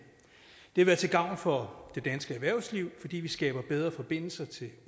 vil være til gavn for det danske erhvervsliv fordi vi skaber bedre forbindelser til